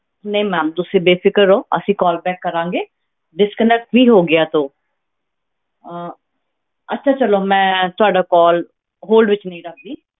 ਨਹੀਂ ma'am ਤੁਸੀਂ ਬੇਫ਼ਿਕਰ ਅਸੀਂ call back ਕਰਾਂਗੇ disconnect ਹੀ ਹੋ ਗਿਆ ਤੋ ਅਹ ਅੱਛਾ ਚਲੋ ਮੈਂ ਤੁਹਾਡਾ call hold ਵਿੱਚ ਨਹੀਂ ਰੱਖਦੀ